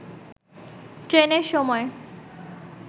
ট্রেনের সময়